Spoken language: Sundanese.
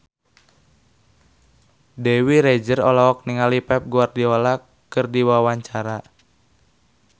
Dewi Rezer olohok ningali Pep Guardiola keur diwawancara